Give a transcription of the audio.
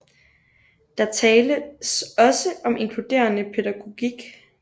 Der tales også om inkluderende pædagogik